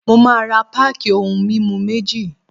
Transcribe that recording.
Mo máa ra páàkì ohun mímu méjì.